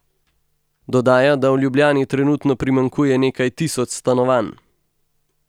Dodaja, da v Ljubljani trenutno primanjkuje nekaj tisoč stanovanj.